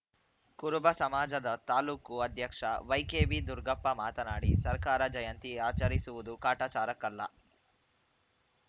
ಕುರುಬ ಸಮಾಜದ ತಾಲೂಕು ಅಧ್ಯಕ್ಷ ವೈಕೆಬಿ ದುರುಗಪ್ಪ ಮಾತನಾಡಿ ಸರ್ಕಾರ ಜಯಂತಿ ಆಚರಿಸುತ್ತಿರುವುದು ಕಾಟಾಚಾರಕ್ಕಲ್ಲ